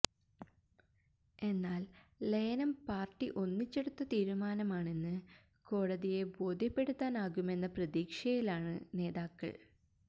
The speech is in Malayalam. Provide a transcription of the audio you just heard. എന്നാല് ലയനം പാര്ട്ടി ഒന്നിച്ചെടുത്ത തീരുമാനമാണെന്ന് കോടതിയെ ബോധ്യപ്പെടുത്താനാകുമെന്ന പ്രതീക്ഷയിലാണ് നേതാക്കള്